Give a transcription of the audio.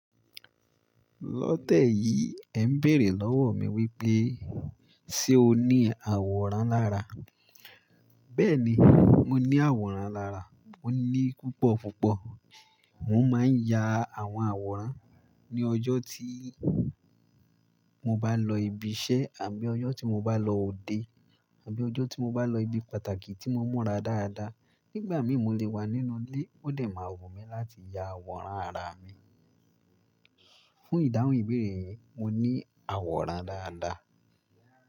Lọ tẹ́yì ẹ ń bèèrè lọ́wọ́ mi wípé ṣe o ní àwòrán lára. Bẹ́ẹ̀ni, mo ní àwòrán lára. Mo ní púpọ̀ púpọ̀. Mo máa ń ya àwọn àwòrán ní ọjọ́ tí mo bá lọ ibi iṣẹ́ àbí ọjọ́ tí mo bá lọ òde àbí ọjọ́ tí mo bá lọ ibi pàtàkì tí mo mọ́ra dáadáa. Nígbà mìíràn mo lè wà nínú ilé, ó lè máa wù mí láti ya àwòrán ara mi. Fún ìdáhùn ìbéèrè re, mo ní àwòrán dáadáa.